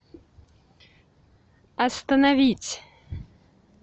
остановить